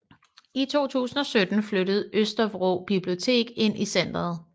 I 2017 flyttede Østervrå Bibliotek ind i centeret